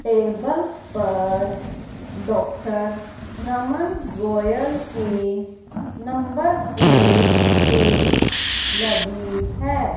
Table पर doctor Raman Goyal के number plate भी लगी है।